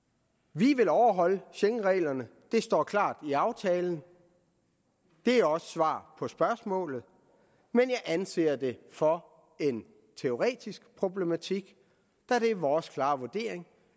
vi vil overholde schengenreglerne det står klart i aftalen og det er også svar på spørgsmålet men jeg anser det for en teoretisk problematik da det er vores klare vurdering